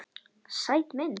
Sæt mynd.